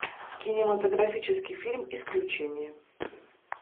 кинематографический фильм исключение